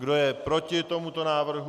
Kdo je proti tomuto návrhu?